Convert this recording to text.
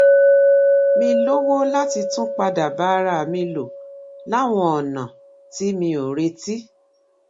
mí lówó láti tún padà bá ara mi lò láwọn ònà tí mi ò retí